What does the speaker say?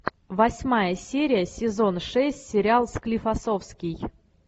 восьмая серия сезон шесть сериал склифосовский